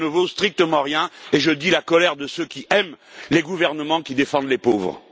Cela ne vaut strictement rien et je dis la colère de ceux qui aiment les gouvernements qui défendent les pauvres.